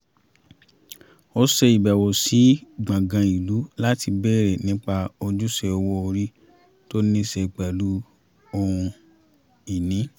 a ṣe ìbẹ̀wò sí gbọ̀gàn ìlú láti bèrè nípa ojúṣe owó orí tó ni ṣe pẹ̀lú ohun-ìní